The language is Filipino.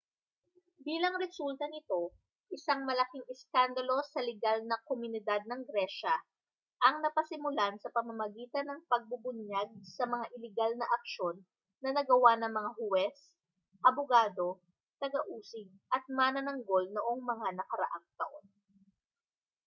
bilang resulta nito isang malaking iskandalo sa ligal na komunidad ng gresya ang napasimulan sa pamamagitan ng pagbubunyag sa mga iligal na aksyon na nagawa ng mga huwes abogado taga-usig at manananggol noong mga nakaraang taon